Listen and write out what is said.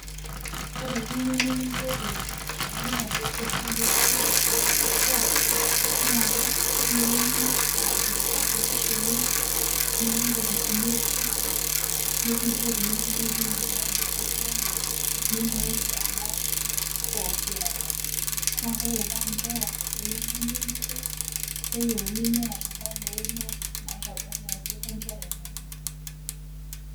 Ore piyeu nekingeri te mradi e serkali e biotisho e SHA, naa keyeuni niata enkitambulisho ino nilo inkofisini e SHA nekingeri, nekipiki ina mradi e serkali nimooki alak pooki apa naa ore paa nkera ninche eyeu nipik, neyeuni neata impala einoto naitodolu ajo kengera inono.